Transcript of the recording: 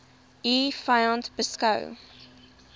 u vyand beskou